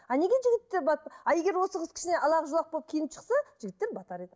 а неге жігіттер а егер осы қыз кішкене ала жұлақ болып киініп шықса жігіттер батар еді